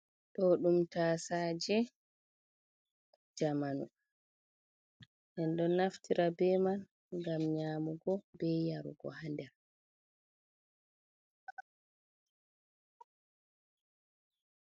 Ɗo ɗum tasaje jdamanu. Minɗo naftira be majum ngam nyamugo be yarugo ha nder.